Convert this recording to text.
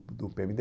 do pê eme dê